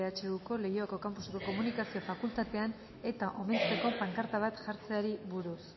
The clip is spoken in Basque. ehuko leioako campuseko komunikazio fakultatean eta omentzeko pankarta bat jartzeari buruz